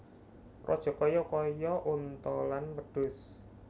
Rajakaya kaya onta lan wedhus